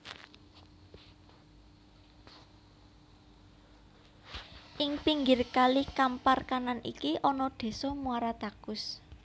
Ing pinggir kali Kampar Kanan iki ana Désa Muara Takus